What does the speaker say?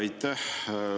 Aitäh!